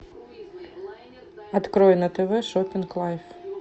открой на тв шоппинг лайф